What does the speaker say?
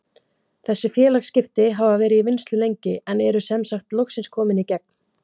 Þessi félagsskipti hafa verið í vinnslu lengi en eru sem sagt loksins komin í gegn.